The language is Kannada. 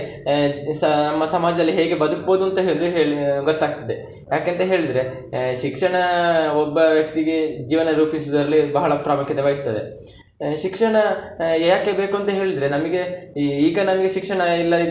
ಆಹ್ ಸ~ ನಮ್ಮ ಸಮಾಜದಲ್ಲಿ ಹೇಗೆ ಬದುಕ್ಬೋದುಂತ ಹೇಳಿ ಗೊತ್ತಾಗ್ತದೆ. ಯಾಕೆಂತ ಹೇಳಿದ್ರೆ ಶಿಕ್ಷಣ ಒಬ್ಬ ವ್ಯಕ್ತಿಗೆ ಜೀವನ ರೂಪಿಸುದ್ರಲ್ಲಿ ಬಹಳ ಪ್ರಾಮುಖ್ಯತೆ ವಹಿಸ್ತದೆ. ಶಿಕ್ಷಣ ಯಾಕೆ ಬೇಕು ಅಂತ ಹೇಳಿದ್ರೆ ನಮಿಗೆ ಈ~ ಈಗ ನಮಿಗೆ ಶಿಕ್ಷಣ ಇಲ್ಲದಿದ್ರೆ.